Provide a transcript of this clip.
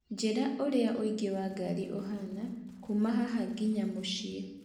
njĩra ũria ũingĩ wa ngari ũhaana kũuma haha nginya mũciĩ